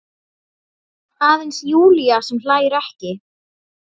Aðeins Júlía sem hlær ekki.